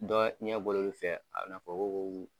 Dɔ ɲɛbɔra olu fɛ a bɛ i n'a fɔ ko